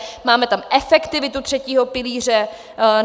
Máme tam efektivitu třetího pilíře.